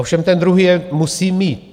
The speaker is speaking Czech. Ovšem ten druhý je musí mít.